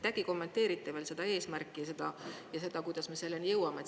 Äkki kommenteerite veel seda eesmärki ja seda, kuidas me selleni jõuame.